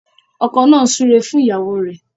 Ọkọ nà súré fún ìyàwó rẹ.